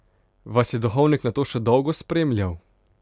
Vas je Duhovnik nato še dolgo spremljal?